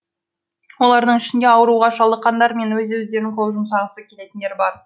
олардың ішінде ауруға шалдыққандар мен өз өздеріне қол жұмсағысы келетіндер бар